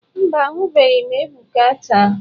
Mba, ahụbeghị m Ebuka taa.